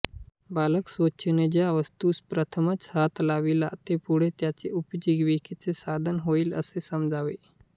बालक स्वेच्छेने ज्या वस्तूस प्रथमतः हात लावील ते पुढे त्याचे उपजीविकेचे साधन होईल असे समजावे